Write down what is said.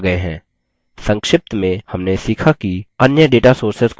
संक्षिप्त में हमने सीखा कि: